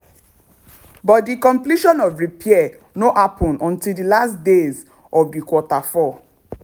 but di completion of repair no happun until di last days of di q4.